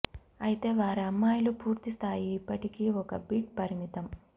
అయితే వారి అమ్మాయిలు పూర్తి స్థాయి ఇప్పటికీ ఒక బిట్ పరిమితం